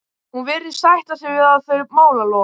Hún virðist sætta sig við þau málalok.